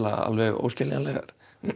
óskiljanlegar